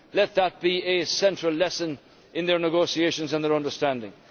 let that be a central lesson in their negotiations and their understanding.